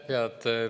Aitäh!